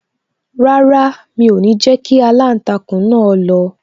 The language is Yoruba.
Rárá, mi o ni jẹ kí aláǹtakùn náà lọ